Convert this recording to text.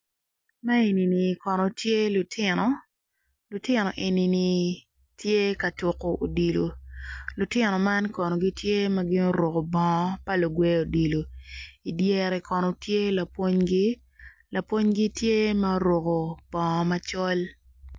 Man eni kono tye lutino lutino eni gitye ka tuko odilo lutino eni gitye ma guro bongo pa lugwe odilo i dyere kono tye lapwonygi.